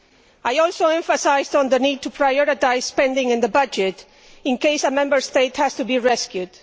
I also emphasised the need to prioritise spending in the budget in case a Member State has to be rescued.